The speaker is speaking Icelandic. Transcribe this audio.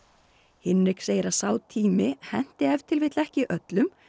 Hinrik segir að sá tími henti ef til vill ekki öllum